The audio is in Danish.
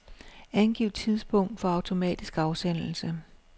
Angiv tidspunkt for automatisk afsendelse.